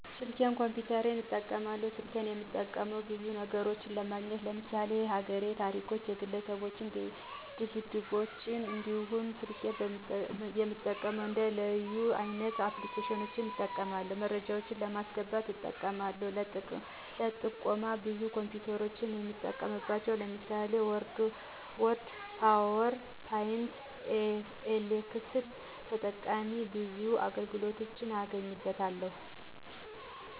ሰልኬንም ኮፒተርም እጠቀማለው። ሰልኬን እምጠቀመው ብዙ ነግሮችን ለማግኘት ለምሳሌ የሀገሬን ታሪኮች፣ የግለሰብ ጅብዶችን እንዲሁም ስልኬን በመጠቀም እንደ ልዩ (leyu) አይነት አፕልኬሺን በመጠቀም መረጃወችን በማሰገባት እጠቀማለው ለጥቆም ብዙ የኮምፒውተር መጠቀሚያወችን ለምሳሌ ወርድ፣ ፓውር ፖይንት፣ ኤክሴል ተጠቅሜ ብዙ አገልግሎቶችን አገኝበታለው።